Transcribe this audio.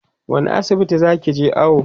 wani asibiti zakije awo?